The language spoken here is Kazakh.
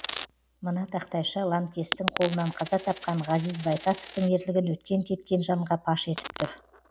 мына тақтайша ланкестін қолынан қаза тапқан ғазиз байтасовтың ерлігін өткен кеткен жанға паш етіп тұр